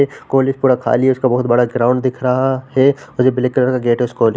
college पूरा खाली है उसका बहुत बड़ा ग्राउन्ड दिख रहा है और ब्लैक कलर का गेट है उस कॉलेज --